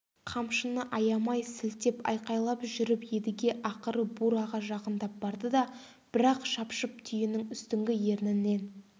қамшыны аямай сілтеп айқайлап жүріп едіге ақыры бураға жақындап барды да бір-ақ шапшып түйенің үстіңгі ернінен